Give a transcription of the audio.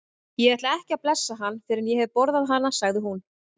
Ég ætla ekki að blessa hann fyrr en ég hef borðað hana, sagði hún.